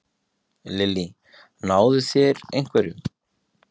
Lillý: Náðu þeir einhverjum?